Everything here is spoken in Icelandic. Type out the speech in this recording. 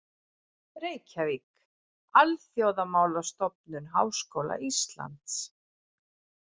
Reykjavík: Alþjóðamálastofnun Háskóla Íslands.